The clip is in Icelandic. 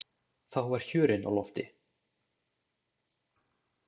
Þá var hjörinn á lofti.